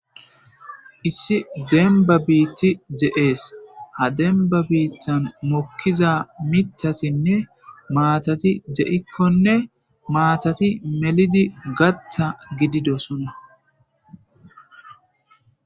issi demba biitti je7ees ha demba biittan mokkiza mitasinne maatati je7ikkonne maatati melidi gatta gididosona